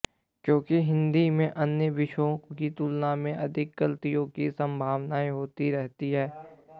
क्योंकि हिंदी में अन्य विषयों की तुलना में अधिक गलतियों की सम्भावनाए रहती है